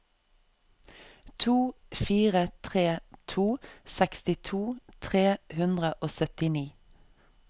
to fire tre to sekstito tre hundre og syttini